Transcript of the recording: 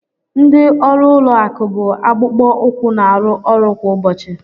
Ndị ọrụ ụlọ akụ bụ akpụkpọ ụkwụ na-arụ ọrụ kwa ụbọchị.